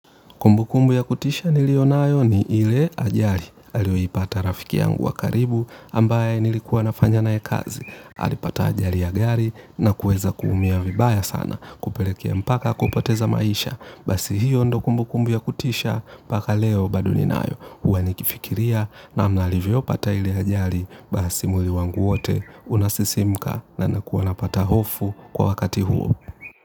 Kumbu kumbu ya kutisha nilio nayo ni ile ajari. Aliyo ipata rafiki yangu wa karibu ambaye nilikuwa nafanya na yekazi. Alipata ajari ya gari na kuweza kuumia vibaya sana. Kupelekea mpaka akopoteza maisha. Basi hiyo ndo kumbu kumbu ya kutisha mpaka leo bado ni nayo. Huwa nikifikiria namna alivyo pata ile ajali basi mwili wangu wote. Unasisimka na nakuwa napata hofu kwa wakati huo.